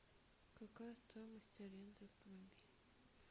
какая стоимость аренды автомобиля